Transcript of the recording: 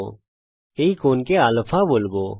আমরা এই কোণকে α বলবো